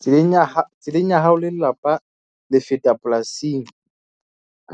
Tseleng ya tseleng ya hao le lelapa le feta polasing